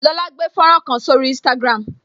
Lola gbé fọ́nrán kan sórí instagram